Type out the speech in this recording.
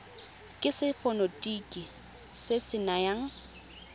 ke setefikeiti se se nayang